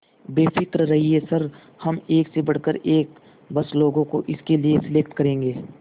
बेफिक्र रहिए सर हम एक से बढ़कर एक बस लोगों को इसके लिए सेलेक्ट करेंगे